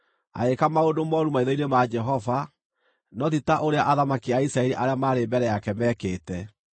Agĩĩka maũndũ mooru maitho-inĩ ma Jehova, no ti ta ũrĩa athamaki a Isiraeli arĩa maarĩ mbere yake meekĩte.